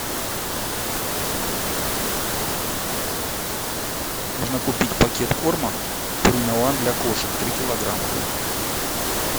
нужно купить пакет корма пурина ван для кошек три килограмма